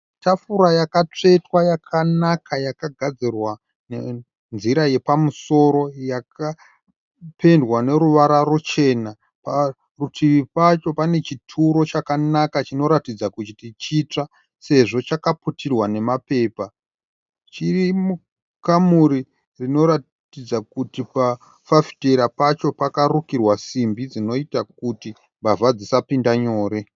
Tafura yakatsvetwa yakanaka yakagadzirwa nenzira yapamusoro yakapendwa noruvara ruchena. Parutivi pacho pane chituro chakanaka chinoratidza kuti chitsva sezvo chakaputirwa namapepa. Chiri mukamuri rinoratidza kuti pafafitera pacho pakarukirwa simbi dzinoita kuti mbavha dzisapinda nyore.